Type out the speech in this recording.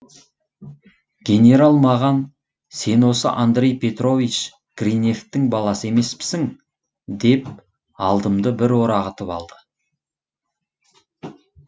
генерал маған сен осы андрей петрович гриневтің баласы емеспісің деп алдымды бір орағытып алды